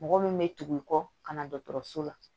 Mɔgɔ min bɛ tugu i kɔ ka na dɔgɔtɔrɔso la